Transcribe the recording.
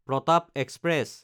Pratap express